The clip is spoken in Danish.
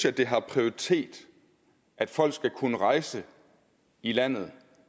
at det har prioritet at folk skal kunne rejse i landet